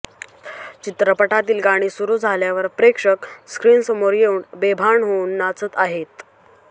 चित्रपटातील गाणी सुरू झाल्यावर प्रेक्षक स्क्रीनसमोर येऊन बेभान होऊन नाचत आहेत